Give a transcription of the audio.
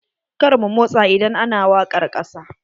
Kar mu motsa idan ana wakar ƙasa.